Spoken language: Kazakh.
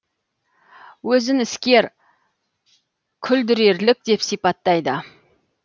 өзін іскер күлдірерлік деп сипаттайды